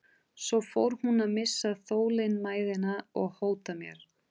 Svo fór hún að missa þolinmæðina og hóta mér.